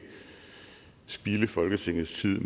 spilde folketingets tid